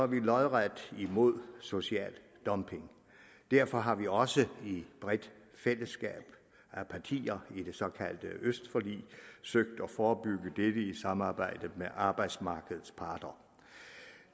vi lodret imod social dumping og derfor har vi også i et bredt fællesskab af partier i det såkaldte østforlig søgt at forebygge dette i samarbejde med arbejdsmarkedets parter